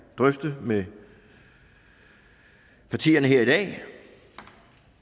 drøfte med partierne her i dag